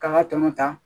K'an ka tɔnɔ ta